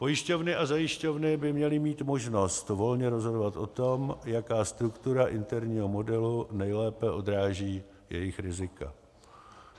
Pojišťovny a zajišťovny by měly mít možnost volně rozhodovat o tom, jaká struktura interního modelu nejlépe odráží jejich rizika.